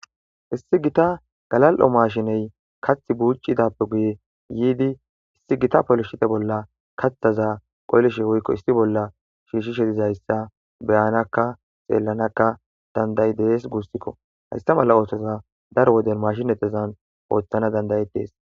Issi gita galal7o maashiney kath buucidappe guye yiidi issi gita polishite bolla katthaza qollishe woykko issi bolla shiishshishe dizayssa beyanakka xeellanakka danday dees guussikko hasta mala oothoza dar woden mashinetezan ooththana dandaye dees